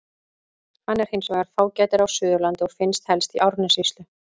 Hann er hins vegar fágætari á Suðurlandi og finnst helst í Árnessýslu.